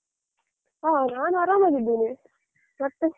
ಹ ನಾನ್ ಆರಾಮಾಗಿದ್ದೇನೆ ಮತ್ತೆ?